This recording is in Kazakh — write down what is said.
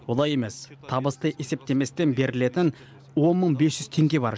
олай емес табысты есептеместен берілетін он мың бес жүз теңге бар